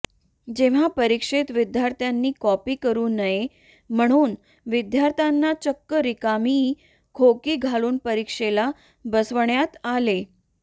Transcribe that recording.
जेव्हा परिक्षेत विद्यार्थ्यांनी कॉपी करू नये म्हणून विद्यार्थ्यांना चक्क रिकामी खोकी घालून परिक्षेला बसवण्यात आले